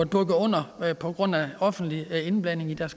bukket under på grund af offentlig indblanding i